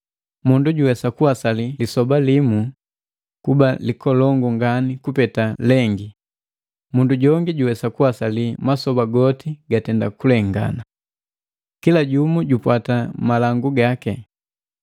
Mundu juwesa kuwasali lisoba limu kuba likolongu ngani kupeta lengi, mundu jongi juwesa kuwasali masoba goti gatenda kulengana. Kila jumu jupwata malangu gaki.